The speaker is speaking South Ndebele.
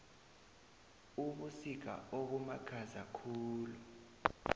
ubusika obumakhaza khulu